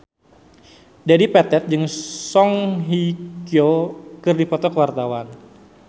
Dedi Petet jeung Song Hye Kyo keur dipoto ku wartawan